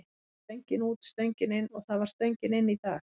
Stöngin út, stöngin inn og það var stöngin inn í dag.